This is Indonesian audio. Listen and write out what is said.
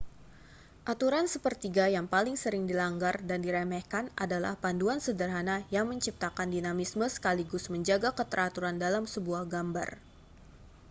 aturan sepertiga yang paling sering dilanggar dan diremehkan adalah panduan sederhana yang menciptakan dinamisme sekaligus menjaga keteraturan dalam sebuah gambar